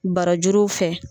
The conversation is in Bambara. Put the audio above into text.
Barajuruw fɛ